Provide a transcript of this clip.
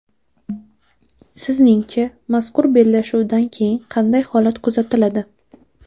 Sizningcha, mazkur bellashuvdan keyin qanday holat kuzatiladi?